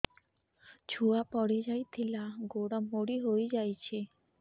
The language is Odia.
ଛୁଆ ପଡିଯାଇଥିଲା ଗୋଡ ମୋଡ଼ି ହୋଇଯାଇଛି